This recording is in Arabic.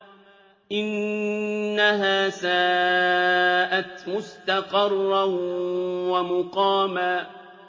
إِنَّهَا سَاءَتْ مُسْتَقَرًّا وَمُقَامًا